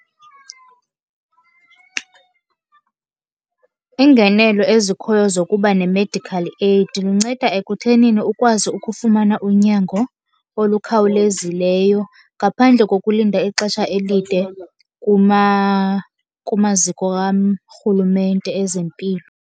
Iingenelo ezikhoyo zokuba ne-medical aid lunceda ekuthenini ukwazi ukufumana unyango olukhawulezileyo ngaphandle kokulinda ixesha elide kumaziko karhulumente ezempilo.